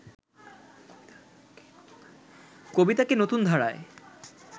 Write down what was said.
কবিতাকে নতুন ধারায়